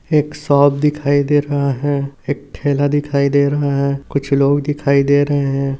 एक शॉप दिखाई दे रहा है एक ठेला दिखाई दे रहा है कुछ लोग दिखाई दे रहे है।